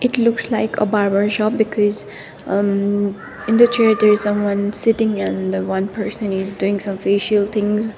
it looks like a barber shop because um in the chair there is someone sitting and one person is doing some facial things.